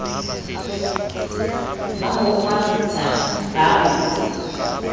ba ho kgwaritsa ba ho